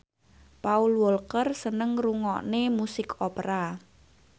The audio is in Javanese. Paul Walker seneng ngrungokne musik opera